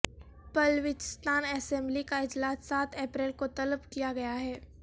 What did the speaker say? Balochistan assembly کا اجلاس سات اپریل کو طلب کیا گیا ہے